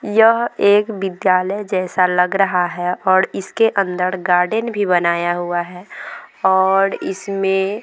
यह एक विद्यालय जैसा लग रहा है और इसके अंदर गार्डन भी बनाया हुआ है और इसमें --